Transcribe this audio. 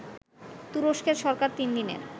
তুরস্কের সরকার তিন দিনের